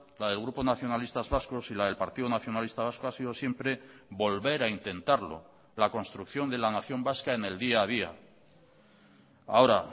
la del grupo nacionalistas vascos y la del partido nacionalista vasco ha sido siempre volver a intentarlo la construcción de la nación vasca en el día a día ahora